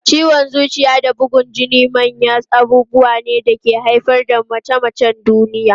Ciwon zuciya da bugun jini manyan abubuwa ne da ke haifar da mace-macen duniya.